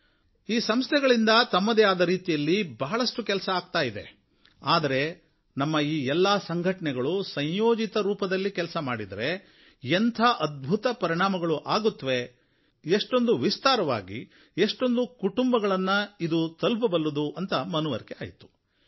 ಪ್ರತ್ಯೇಕ ಸಂಘಟನೆ ತನ್ನದೇ ಆದ ರೀತಿಯಲ್ಲಿ ಬಹಳಷ್ಟು ಮಾಡ್ತಾ ಇದೆ ಆದರೆ ನಮ್ಮ ಈ ಎಲ್ಲ ಸಂಘಟನೆಗಳು ಸಂಯೋಜಿತ ರೂಪದಲ್ಲಿ ಕೆಲಸ ಮಾಡಿದರೆ ಎಂಥ ಅದ್ಭುತ ಪರಿಣಾಮಗಳು ಆಗುತ್ತೆ ಎಷ್ಟೊಂದು ವಿಸ್ತಾರವಾಗಿ ಅಷ್ಟೊಂದು ಕುಟುಂಬಗಳನ್ನು ಇದು ತಲುಪಬಲ್ಲುದು ಅಂತ ಮನವರಿಕೆ ಆಯ್ತು